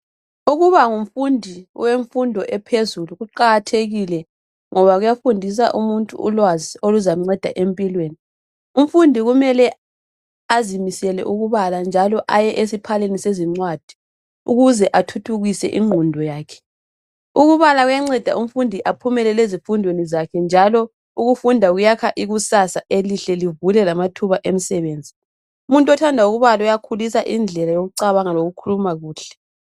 Ukuba ngumfundi wemfundo ephezulu kuqakathekile ngoba kuyafundisa umuntu ulwazi oluzamnceda empilweni. Umfundi kumele azimisele ukubala njalo aye esiphaleni sezincwadi ukuze athuthukise ingqondo yakhe ukubala kuyanceda umfundi aphumelele ezifundweni zakhe njalo ukufunda kuyakha ikusasa elihle livule lamathuba emsebenzi. Umuntu othanda ukubala uyakhulisa indlela yokucabanga lokukhuluma kuhle.